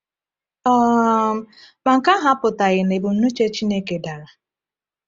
um Ma nke ahụ apụtaghị na ebumnuche Chineke dara.